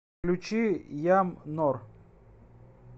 включи ям нор